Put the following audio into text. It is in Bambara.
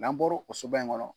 N'an bɔro o so ba in kɔnɔ.